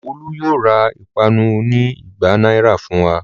Olú yóò ra ìpanu oní igba náírà fún wa.